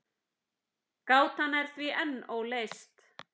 Gátan er því enn óleyst.